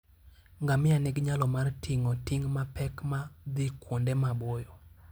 Ngamia nigi nyalo mar ting'o ting' mapek ma dhi kuonde maboyo.